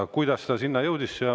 Aga kuidas ta selleni jõudis?